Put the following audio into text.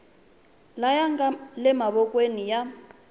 laya nga le mavokweni ya